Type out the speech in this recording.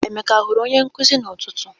Emeka a hụrụ onye nkuzi ahụ n'ụtụtụ?